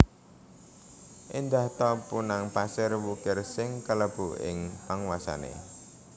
Éndah ta punang pasir wukir sing kalebu ing panguwasané